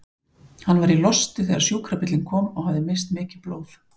Hann var í losti þegar sjúkrabíllinn kom og hafði misst mikið blóð.